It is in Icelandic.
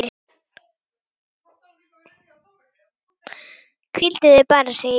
Hvíldu þig bara, segi ég.